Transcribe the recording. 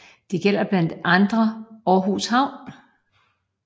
Dette gælder blandt andre Aarhus havn